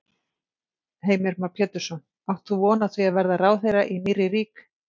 Heimir Már Pétursson: Átt þú von á því að verða ráðherra í nýrri rík?